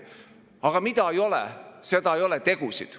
Aga mida ei ole, seda ei ole – tegusid.